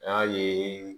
An y'a ye